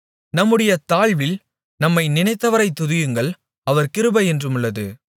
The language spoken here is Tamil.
நம்முடைய தாழ்வில் நம்மை நினைத்தவரைத் துதியுங்கள் அவர் கிருபை என்றுமுள்ளது